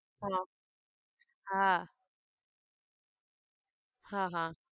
હા હા હા હા